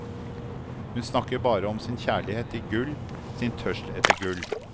Hun snakker bare om sin kjærlighet til gull, sin tørst etter gull.